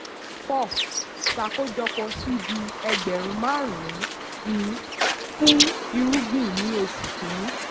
four. ṣàkójọ c/d ẹgbẹ̀rún márùn-ún fún irúgbìn ní oṣù kìíní.